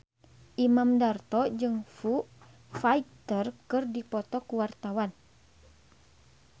Imam Darto jeung Foo Fighter keur dipoto ku wartawan